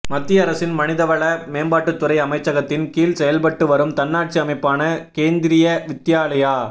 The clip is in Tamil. மத்திய அரசின் மனிதவள மேம்பாட்டுத் துறை அமைச்சகத்தின் கீழ் செயல்பட்டு வரும் தன்னாட்சி அமைப்பான கேந்திரிய வித்யாலயா